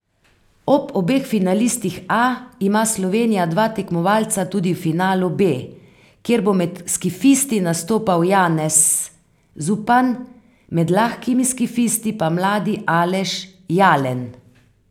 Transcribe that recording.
Ob obeh finalistih A ima Slovenija dva tekmovalca tudi v finalu B, kjer bo med skifisti nastopal Janez Zupan, med lahkimi skifisti pa mladi Aleš Jalen.